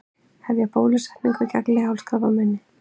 Hefja bólusetningu gegn leghálskrabbameini